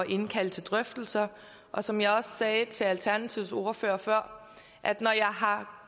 indkalde til drøftelser og som jeg også sagde til alternativets ordfører før har